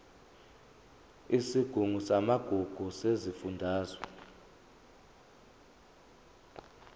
isigungu samagugu sesifundazwe